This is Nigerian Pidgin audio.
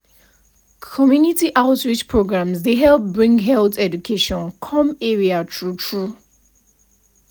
community outreach programs dey help bring health education come area true true